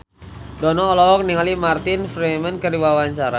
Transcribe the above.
Dono olohok ningali Martin Freeman keur diwawancara